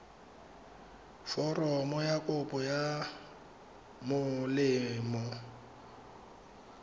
foromo ya kopo ya molemo